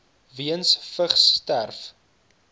weens vigs sterf